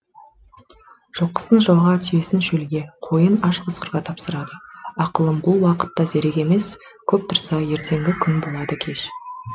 жылқысын жауға түйесін шөлге қойын аш қасқырға тапсырады ақылым бұл уақытта зерек емес көп тұрса ертеңгі күн болады кеш